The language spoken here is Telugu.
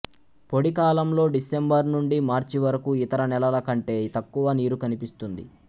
పొడి కాలంలో డిసెంబరు నుండి మార్చి వరకు ఇతర నెలల కంటే తక్కువ నీరు కనిపిస్తుంది